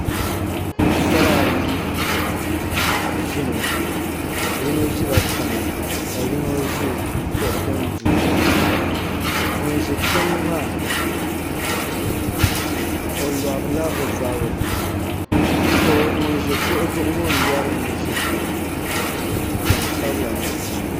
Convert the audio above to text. Paɣasara ayi ʒimi yino ʒila tiŋa ka yino ʒi kuɣu din du zuɣu ŋun ʒi tiŋ maa o lorila o zabiri ŋun ʒi kuɣu zuɣu ŋo n lori ŋun ʒi tiŋ ŋo gbaŋsabila mii n bala